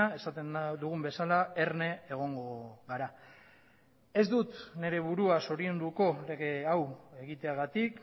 esaten dugun bezala erne egongo gara ez dut nire burua zorionduko lege hau egiteagatik